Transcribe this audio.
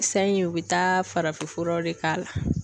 Sayi u bi taa farafinfuraw de k'a la.